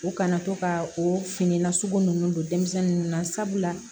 U kana to ka o fini nasugu ninnu don denmisɛnnin ninnu na sabula